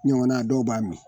Nin ɲɔgɔnna, dɔw b'a min.